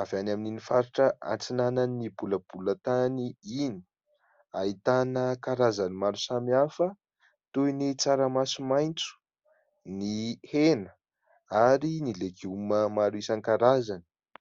avy any amin'ny faritra antsinanan'ny bolabola tany iny. Ahitana karazany maro samy hafa toy ny tsaramaso maintso, ny hena ary ny legioma maro isan-karazany.